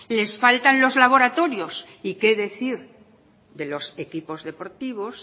les faltan los laboratorios y qué decir de los equipos deportivos